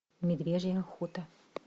медвежья охота